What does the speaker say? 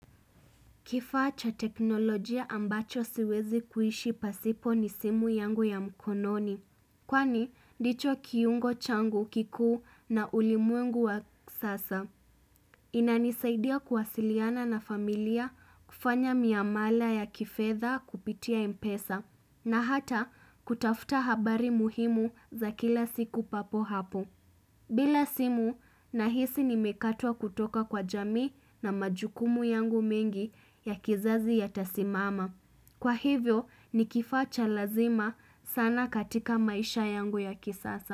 Kifaa cha teknolojia ambacho siwezi kuishi pasipo ni simu yangu ya mkononi. Kifaa cha teknolojia ambacho siwezi kuishi pasipo ni simu yangu ya mkononi. Kwani, ndicho kiungo changu kiku na ulimuengu wa sasa. Inanisaidia kuwasiliana na familia kufanya miamala ya kifedha kupitia mpesa. Na hata, kutafuta habari muhimu za kila siku papo hapo. Bila simu nahisi nimekatwa kutoka kwa jamii na majukumu yangu mengi ya kizazi yatasimama.